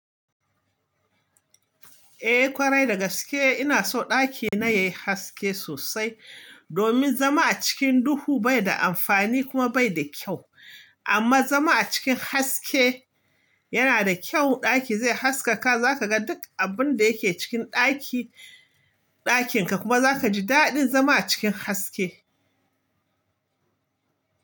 Eh ƙwarai, da gaske ina so ɗakina yayi haske sosai domin zama a cikin duhu bai da amfani kuma bai da kyau. Amma zama a cikin haske yana da kyau, ɗaki zai haskaka za ka ga duk abun da yake cikin ɗaki-ɗakinka kuma za ka ji daɗin zama a cikin haske.